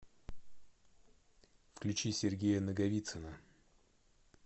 включи сергея наговицына